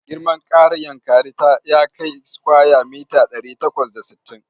Girman ƙaaar Yankari ya kai sukwaya mita ɗari takwas da sittin.